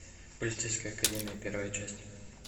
полицейская академия первая часть